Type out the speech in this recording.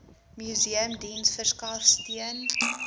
museumdiens verskaf steun